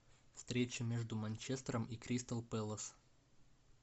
встреча между манчестером и кристал пэлас